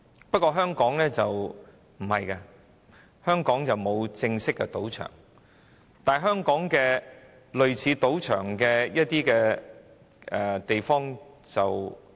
不過，香港雖然沒有正式賭場，但完全不缺類似賭場的地方。